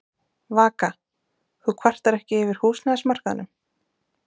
Vaka: Þú kvartar ekki yfir húsnæðismarkaðnum?